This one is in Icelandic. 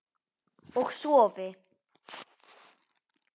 Og sofi.